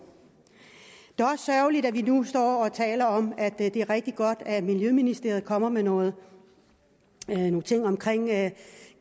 det er også sørgeligt at vi nu står og taler om at det er rigtig godt at miljøministeriet kommer med nogle ting om